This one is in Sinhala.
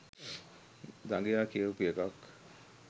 දඟයා කියවපු එකක්